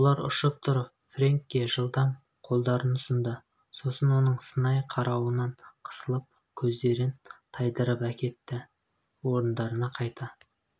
олар ұшып тұрып фрэнкке жылдам қолдарын ұсынды сосын оның сынай қарауынан қысылып көздерін тайдырып әкетті орындарына қайта